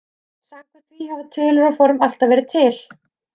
Samkvæmt því hafa tölur og form alltaf verið til.